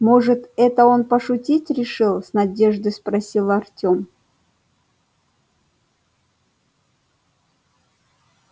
может это он пошутить решил с надеждой спросил артем